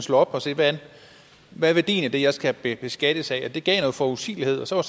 slå op og se hvad er værdien af det jeg skal beskattes af det gav noget forudsigelighed så